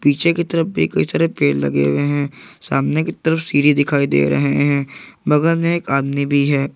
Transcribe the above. पीछे की तरफ भी कई सारे पेड़ लगे हुए हैं सामने की तरफ सीढ़ी दिखाई दे रहे हैं बगल में एक आदमी भी है।